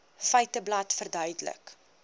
feiteblad verduidelik